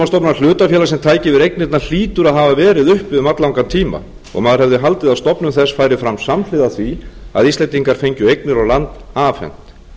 hlutafélag sem tæki yfir eignirnar hlýtur að hafa verið uppi um alllangan tíma og maður hefði haldið að stofnun þess færi fram samhliða því að íslendingar fengju eignir og land afhent